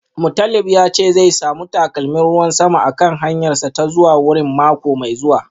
Mutalib ya ce zai samu takalmin ruwan sama a kan hanyarsa ta zuwa wurin mako mai zuwa